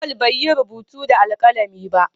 Auwal bai yi rubutu da alkalami ba